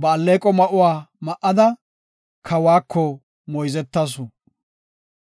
Ba alleeqo ma7uwa ma7ada, kawako moyzetasu.